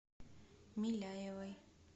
миляевой